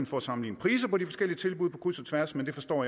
for at sammenligne priser på de forskellige tilbud på kryds og tværs men jeg forstår